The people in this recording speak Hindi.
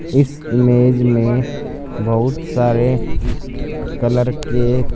इस इमेज में बहुत सारे कलर के--